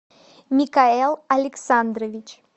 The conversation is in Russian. микаэл александрович